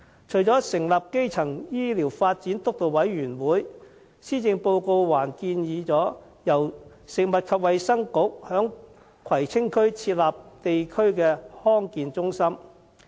除了成立基層醫療健康發展督導委員會，施政報告還建議由食物及衞生局在葵青區設立地區康健中心。